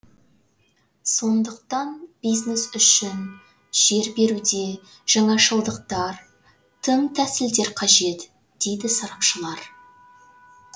сондықтан бизнес үшін жер беруде жаңашылдықтар тың тәсілдер қажет дейді сарапшылар